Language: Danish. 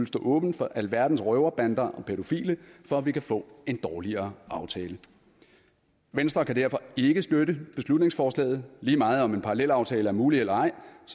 stå åben for alverdens røverbander og pædofile for at vi kan få en dårligere aftale venstre kan derfor ikke støtte beslutningsforslaget lige meget om en parallelaftale er mulig eller ej